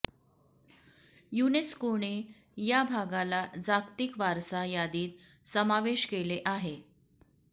यूनेस्कोने या भागाला जागतिक वारसा यादीत समावेश केले आहे